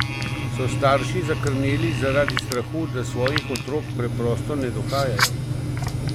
So starši zakrneli zaradi strahu, da svojih otrok preprosto ne dohajajo?